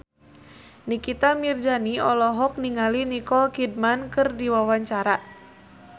Nikita Mirzani olohok ningali Nicole Kidman keur diwawancara